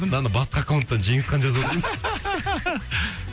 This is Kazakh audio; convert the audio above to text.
мынаны басқа аккаунттан жеңісхан жазып отыр